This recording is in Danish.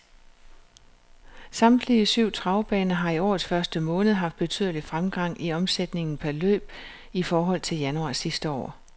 Samtlige syv travbaner har i årets første måned haft betydelig fremgang i omsætningen per løb i forhold til januar sidste år.